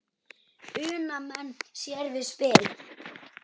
Una menn sér við spil.